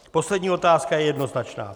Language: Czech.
Poslední otázka je jednoznačná.